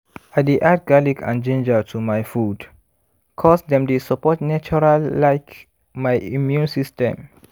i dey add garlic and ginger to my food cause dem dey support natural like my immune system